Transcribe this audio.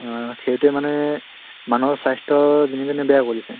অহ সেইটোয়ে মানুহৰ স্বাস্থ্য় দিনে দিনে বেয়া কৰিছে